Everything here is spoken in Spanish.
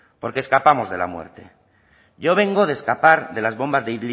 porque escapamos de la muerte yo vengo de escapar de las bombas de